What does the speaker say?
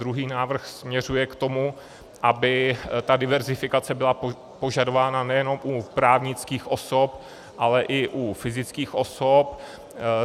Druhý návrh směřuje k tomu, aby ta diverzifikace byla požadována nejenom u právnických osob, ale i u fyzických osob.